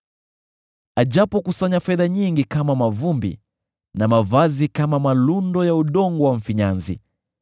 Ajapokusanya fedha nyingi kama mavumbi, na mavazi kama malundo ya udongo wa mfinyanzi,